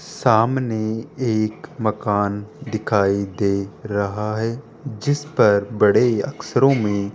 सामने एक मकान दिखाई दे रहा है जिस पर बड़े अक्षरों में --